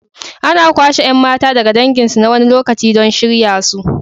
Ana kwashe 'yan mata daga danginsu na wani lokaci don shirya su.